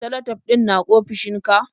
Salatif ɗin na ofishinka?